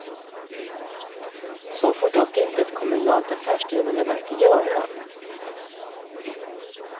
Så får dock inte ett kommunalt affärsdrivande verk göra.